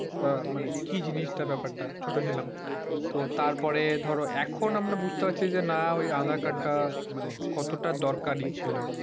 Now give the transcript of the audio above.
আহ মানে কি জিনিসটা ব্যাপারটা ছোট ছিলাম। তো তারপরে ধরো এখন আমরা বুঝতে পারছি যে না ঐ আধার-কার্ডটা মানে কতটা দরকারি ছিল।